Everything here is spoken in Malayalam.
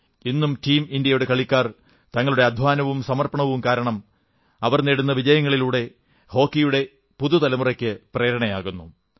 ഇന്നും ടീം ഇന്ത്യയുടെ കളിക്കാർ തങ്ങളുടെ അധ്വാനവും അർപ്പണവും കാരണം നേടുന്ന വിജയങ്ങളിലൂടെ ഹോക്കിയുടെ പുതു തലമുറയ്ക്ക് പ്രേരണയേകുന്നു